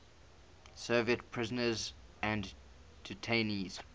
soviet prisoners and detainees